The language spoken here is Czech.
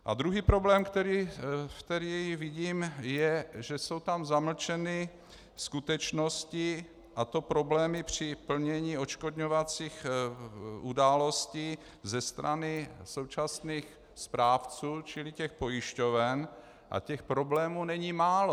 A druhý problém, který vidím, je, že jsou tam zamlčeny skutečnosti, a to problémy při plnění odškodňovacích událostí ze strany současných správců, čili těch pojišťoven, a těch problémů není málo.